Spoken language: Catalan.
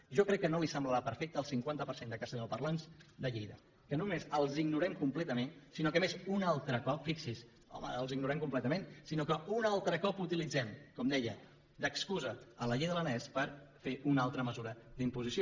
jo crec que no li semblarà perfecte al cinquanta per cent de castellanoparlants de lleida que no només els ignorem completament sinó que a més un altre cop fixi’s home els ignorem completament utilitzem com deia d’excusa la llei de l’aranès per fer una altra mesura d’imposició